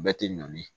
Bɛɛ tɛ ɲɔn ye